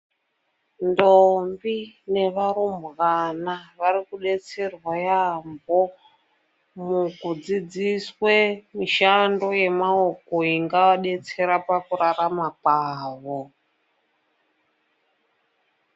Ndombi nevarumbwana varikubetserwa yaampho, mukudzidziswe mishando yemaoko ingawadetsera pakurarama kwavo.